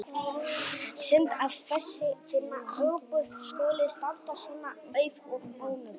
Synd að þessi fína íbúð skuli standa svona auð og ónotuð.